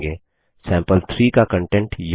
सैंपल3 का कंटेंट यह है